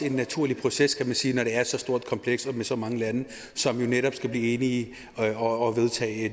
en naturlig proces kan man sige når det er så stort og komplekst og med så mange lande som netop skal blive enige og vedtage